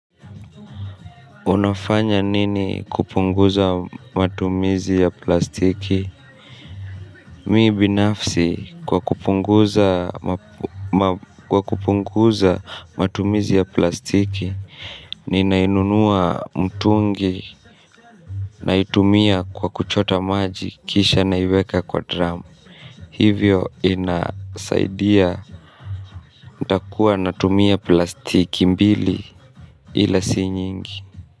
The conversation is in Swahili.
Unafanya nini kupunguza matumizi ya plastiki? Miibinafsi kwa kupunguza matumizi ya plastiki. Ninainunua mtungi. Naitumia kwa kuchota maji kisha na iweka kwa drum. Hivyo inasaidia. Ndakuwa natumia plastiki mbili. Ila si nyingi.